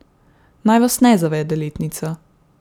Naj vas ne zavede letnica.